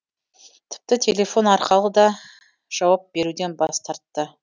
тіпті телефон арқылы да жауап беруден бас тартты